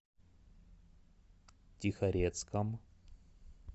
тихорецком